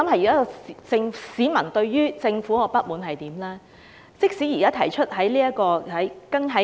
現時市民對於政府的不滿是甚麼呢？